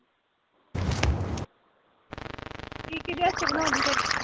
ਏਹ ਕਿਹਦੇ ਵਾਸਤੇ ਬਣਾਉਣ ਡਈ ਫਿਰ